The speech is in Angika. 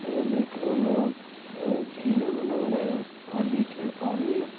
यह देख रहे होंगे आप ये झीले बना रहे हैं और बीच में पानी है।